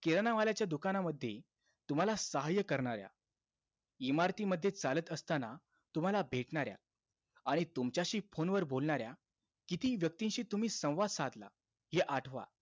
किराणा मालाच्या दुकानामध्ये तुम्हाला सहाय्य्य करणाऱ्या, इमारतीमध्ये चालत असताना तुम्हाला भेटणाऱ्या, आणि तुमच्याशी phone वर बोलणाऱ्या किती व्यक्तींशी तुम्ही संवाद साधला, आठवा.